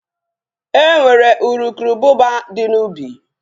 E nwere uru ububa dị n'ubi